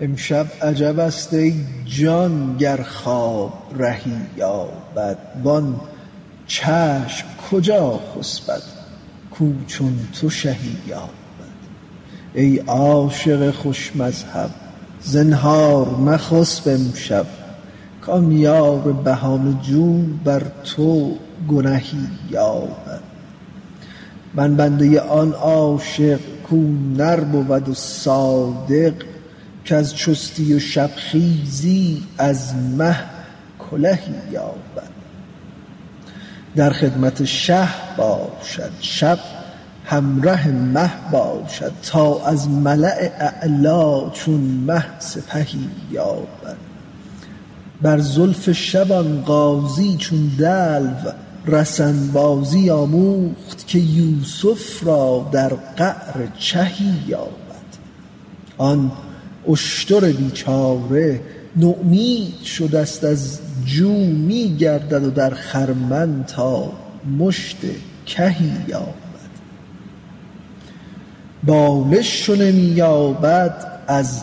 امشب عجبست ای جان گر خواب رهی یابد وان چشم کجا خسپد کاو چون تو شهی یابد ای عاشق خوش مذهب زنهار مخسب امشب کان یار بهانه جو بر تو گنهی یابد من بنده آن عاشق کاو نر بود و صادق کز چستی و شبخیزی از مه کلهی یابد در خدمت شه باشد شب همره مه باشد تا از ملاء اعلا چون مه سپهی یابد بر زلف شب آن غازی چون دلو رسن بازی آموخت که یوسف را در قعر چهی یابد آن اشتر بیچاره نومید شدست از جو می گردد در خرمن تا مشت کهی یابد بالش چو نمی یابد از